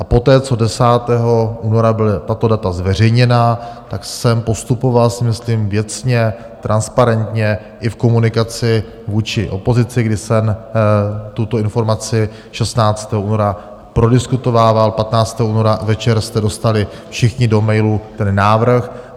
A poté, co 10. února byla tato data zveřejněna, tak jsem postupoval, si myslím, věcně, transparentně i v komunikaci vůči opozici, kdy jsem tuto informaci 16. února prodiskutovával, 15. února večer jste dostali všichni do mailu ten návrh.